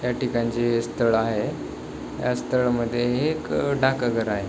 त्या ठिकाणचे हे स्थळ आहे ह्या स्थळमध्ये हे एक डाक घर आहे.